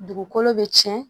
Dugukolo be tiɲɛ